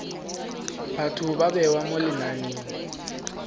batho ba bewa mo lenaneng